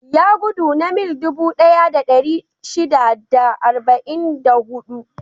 Ya gudu na mil dubu ɗaya da ɗari shida da arba'in da huɗu.